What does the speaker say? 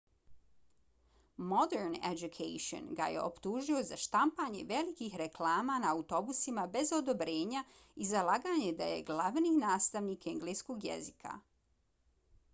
modern education ga je optužio za štampanje velikih reklama na autobusima bez odobrenja i za laganje da je glavni nastavnik engleskog jezika